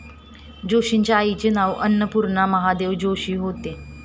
जोशींच्या आईचे नाव अन्नपूर्णा महादेव जोशी होते.